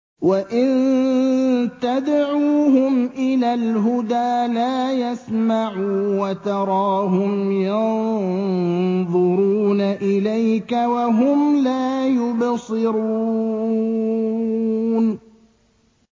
وَإِن تَدْعُوهُمْ إِلَى الْهُدَىٰ لَا يَسْمَعُوا ۖ وَتَرَاهُمْ يَنظُرُونَ إِلَيْكَ وَهُمْ لَا يُبْصِرُونَ